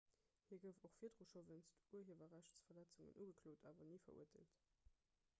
hie gouf och virdru scho wéinst urhiewerrechtsverletzungen ugeklot awer ni verurteelt